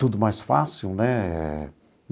Tudo mais fácil, né?